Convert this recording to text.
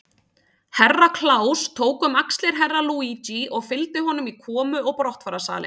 Herra Kláus tók um axlir Herra Luigi og fylgdi honum í komu og brottfararsalinn.